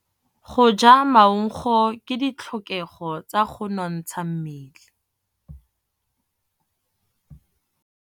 Go ja maungo ke ditlhokegô tsa go nontsha mmele.